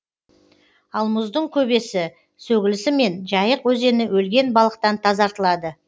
ал мұздың көбесі сөгілісімен жайық өзені өлген балықтан тазартылады